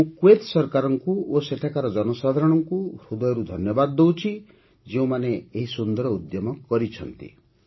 ମୁଁ କୁଏତ୍ ସରକାର ଓ ସେଠାକାର ଜନସାଧାରଣଙ୍କୁ ହୃଦୟରୁ ଧନ୍ୟବାଦ ଦେଉଛି ଯେଉଁମାନେ ଏହି ସୁନ୍ଦର ଉଦ୍ୟମ କରିଛନ୍ତି